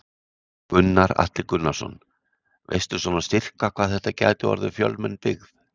Gunnar Atli Gunnarsson: Veistu svona sirka hvað þetta gæti orðið fjölmenn byggð?